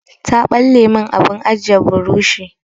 Ta ɓalle min abin ajiye burushi.